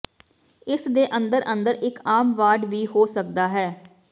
ਇਸ ਦੇ ਅੰਦਰ ਅੰਦਰ ਇੱਕ ਆਮ ਵਾਰਡ ਵੀ ਹੋ ਸਕਦਾ ਹੈ